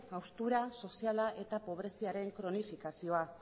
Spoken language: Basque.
haustura soziala eta pobreziaren kronifikazioa